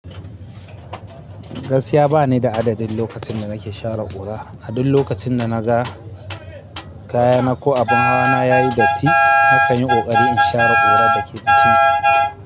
Gaskiya bani da adadin lokacin da nake share ƙura. Adul lokacin da na ga kayana ko abin hawa na yayi datti, na kan yi ƙoƙari in share ƙurar da ke cikinsa.